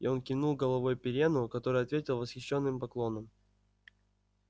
и он кивнул головой пиренну который ответил восхищенным поклоном